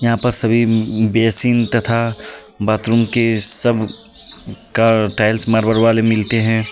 यहाँ पर सभी बेसिन तथा बाथरूम की सब का टाइल्स मार्बल वाले मिलते हैं.